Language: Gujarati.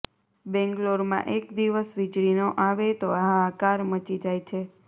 બેંગ્લોરમાં એક દિવસ વિજળી ન આવે તો હાહાકાર મચી જાય છે